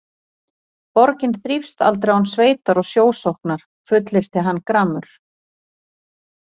Borgin þrífst aldrei án sveitar og sjósóknar fullyrti hann gramur.